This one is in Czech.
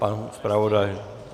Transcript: Pan zpravodaj?